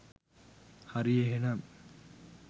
හරි එහෙනම්